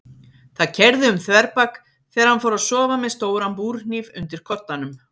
Það keyrði um þverbak þegar hann fór að sofa með stóran búrhníf undir koddanum.